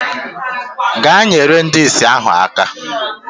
Gaa nyere ndị ìsì ahụ aka!